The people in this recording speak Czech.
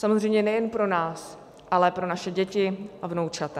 Samozřejmě nejen pro nás, ale pro naše děti a vnoučata.